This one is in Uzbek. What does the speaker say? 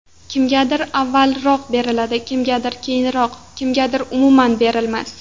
Kimgadir avvalroq beriladi, kimgadir keyinroq, kimgadir, umuman, berilmas.